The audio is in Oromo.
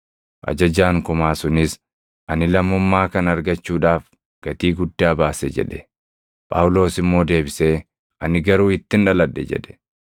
Ajajaan kumaa sunis, “Ani lammummaa kana argachuudhaaf gatii guddaa baase” jedhe. Phaawulos immoo deebisee, “Ani garuu ittin dhaladhe” jedhe.